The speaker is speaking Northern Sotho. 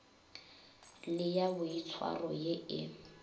le ya boitshwaro ye e